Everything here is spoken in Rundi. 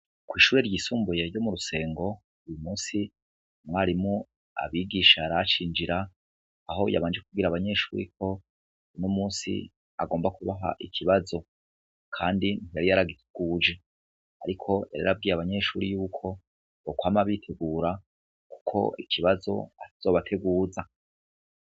Kw'ishure ryisumbuye ryo mu Rusengo, uwu musi umwarimu abigisha yaracinjira, aho yabanje kubwira abanyeshuri ko, uno munsi agomba kubaha ikibazo. Kandi yari yaragiteguje. Ariko yari yarabwiye abanyeshuri yuko, bokwama bitegura, kuko ikibazo atazobateguza.